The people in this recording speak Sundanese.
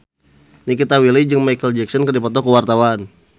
Nikita Willy jeung Micheal Jackson keur dipoto ku wartawan